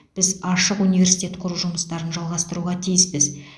біз ашық университет құру жұмыстарын жалғастыруға тиіспіз